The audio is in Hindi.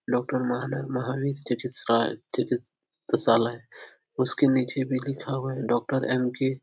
डाक्टर महान महावीर चिकित्स राये चिकित्सालय उसके नीचे भी लिखा हुआ है डाक्टर एम के --